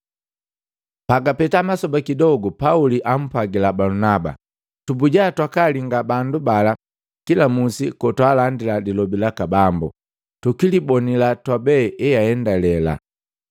Pagapeta masoba kidogu, Pauli ampwagila Balunaba, “Tubuja twakaalinga bandu bala kila musi kotwaalandila lilobi laka Bambo, tukilibonila twabe eandalela.”